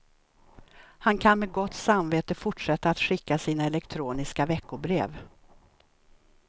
Han kan med gott samvete fortsätta att skicka sina elektroniska veckobrev.